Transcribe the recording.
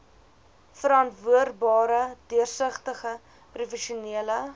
verantwoordbare deursigtige professionele